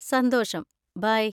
സന്തോഷം, ബൈ!